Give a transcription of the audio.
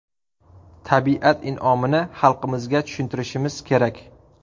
Tabiat in’omini xalqimizga tushuntirishimiz kerak.